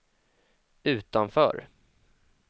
utanför